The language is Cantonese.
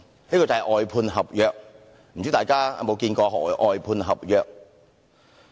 這就是外判合約，不知道大家知否何謂"外判合約"？